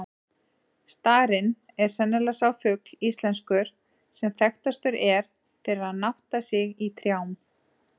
Starinn er sennilega sá fugl íslenskur, sem þekktastur er fyrir að nátta sig í trjám.